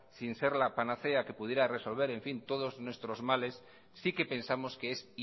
sin ser la panacea que pudiera resolver todos nuestros males sí que pensamos que es